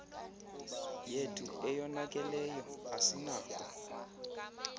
yethu eyonakeleyo asinako